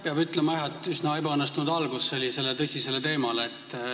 Peab ütlema jah, et see oli üsna ebaõnnestunud algus sellisele tõsisele teemale.